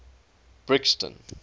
brixton